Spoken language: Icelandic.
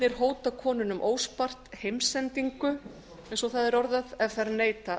eiginmennirnir hóta konunum óspart heimsendingu eins og það er orðað ef þær neita